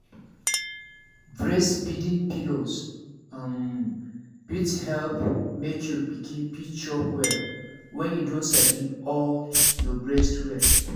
breastfeeding pillows um fit help make your pikin fit chop well when e don sabi hold your breast well